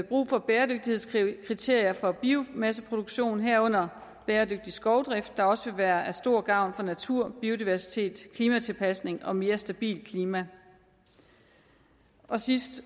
brug for bæredygtighedskriterier for biomasseproduktion herunder bæredygtig skovdrift der også vil være til stor gavn for natur biodiversitet klimatilpasning og mere stabilt klima og sidst